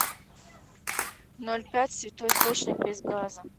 ноль пять святой источник без газа